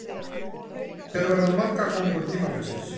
Hver verður markakóngur tímabilsins?